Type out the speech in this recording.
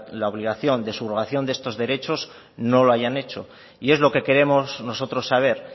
la obligación de subrogación de estos derecho no lo hayan hecho y es lo que queremos nosotros saber